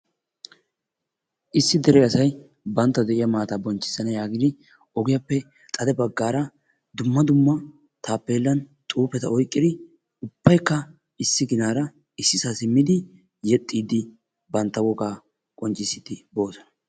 Issi dere asay banttawu de'iya maata bonchchisana yaagidi ogiyaappe xade baggaara dumma dumma taapelan xuufetta oyqqidi ubbaykka issi ginara issisa simmidi yeexxiidi bantta wogaa qonccissidi boosona.